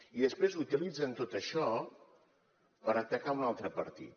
i després utilitzen tot això per atacar un altre partit